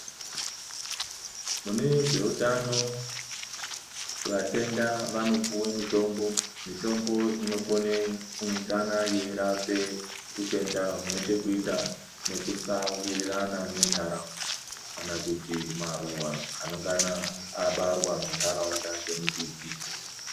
Mune zveutano vatenda vanopuwe mitombo mitombo inokona kunge yeirapa utenda hunechekuita nekusawirirana nentharaunda kana kuti maruwa anengana abarwa muntharau.da nemumbiti.